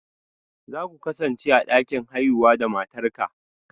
Za ku kasance a dakin haihuwa da matarka?